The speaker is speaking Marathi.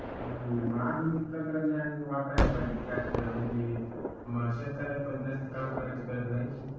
हम्म आधुनिक तंत्रज्ञान वापरायला पाहिजे ट्रॅक्टर म्हणजे मग शेतकऱ्याला पण जास्त काम करण्याची गरज नाही.